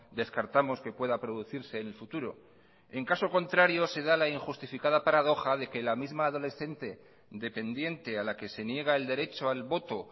descartamos que pueda producirse en el futuro en caso contrario se da la injustificada paradoja de que la misma adolescente dependiente a la que se niega el derecho al voto